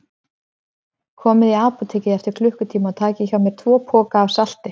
Komið í apótekið eftir klukkutíma og takið hjá mér tvo poka af salti.